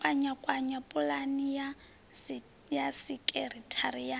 kwakwanya pulani ya sekithara ya